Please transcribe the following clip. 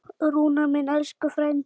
Rúnar minn, elsku frændi.